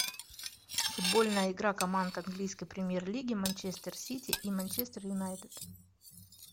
футбольная игра команд английской премьер лиги манчестер сити и манчестер юнайтед